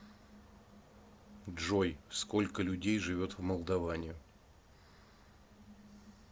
джой сколько людей живет в молдоване